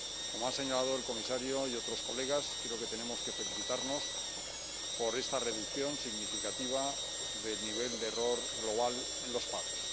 Como han señalado el comisario y otros colegas, creo que tenemos que felicitarnos por esta reducción significativa del nivel de error global en los pagos.